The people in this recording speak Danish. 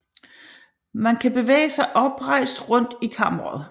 Man kan bevæge sig oprejst rundt i kammeret